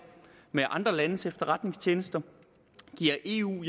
med andre landes efterretningstjenester og giver eu